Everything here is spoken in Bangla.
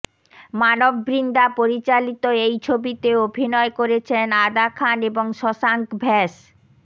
মানভ বিন্দ্রা পরিচালিত এই ছবিতে অভিনয় করেছেন আদা খান এবং শশাঙ্ক ভ্যাস